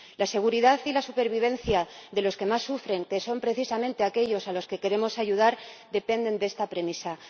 La seguridad y la supervivencia de los que más sufren, que son precisamente aquellos a los que queremos ayudar, dependen de esta premisa.